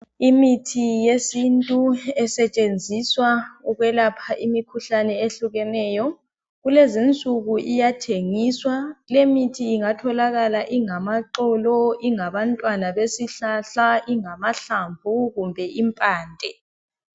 Imithi yesintu esetshenziswa ukwelapha imikhuhlane ehlukeneyo kulezinsuku iyathengiswa, lemithi ingatholakala ingamaxolo ingabantwana besihlahla ingamahlamvu kumbe impande.